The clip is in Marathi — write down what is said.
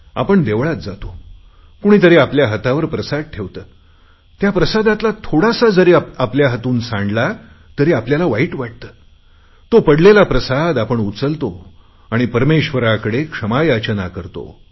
आपण देवळात जातो कोणीतरी आपल्या हातावर प्रसाद ठेवतो त्या प्रसादातला थोडासा जरी आपल्या हातून सांडला तरी आपल्याला वाईट वाटते तो पडलेला प्रसाद आपण उचलतो आणि परमेश्वराकडे क्षमा याचना करतो